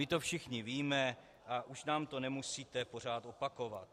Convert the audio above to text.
My to všichni víme a už nám to nemusíte pořád opakovat.